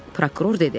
Prokuror dedi: